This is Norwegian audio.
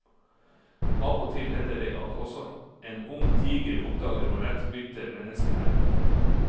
Av og til hender det at også en ung tiger oppdager hvor lett bytte mennesket er.